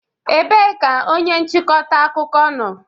Ebee ka onye nchịkọta akụkọ nọ?